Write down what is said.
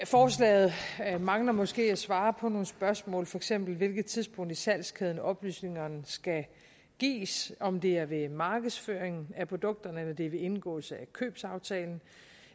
forslaget mangler måske at svare på nogle spørgsmål for eksempel hvilket tidspunkt i salgskæden oplysningerne skal gives om det er ved markedsføring af produkterne eller om det er ved indgåelse af købsaftalen